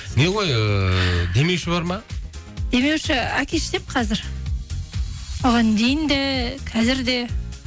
не ғой ыыы демеуші бар ма демеуші әке шешем қазір оған дейін де қазір де